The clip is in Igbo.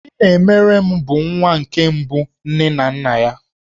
Chinemerem bụ nwa nke mbụ nke nne na nna ya.